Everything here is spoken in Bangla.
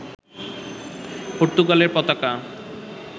পর্তুগালের পতাকা